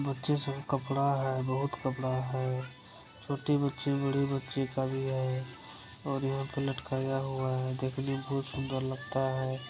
बच्चे सब कपड़ा है बहुत कपड़ा है छोटी बच्ची बड़ी बच्ची का भी है और यहाँ पे लटकाया हुआ है देखने मे बहुत सुंदर लगता है।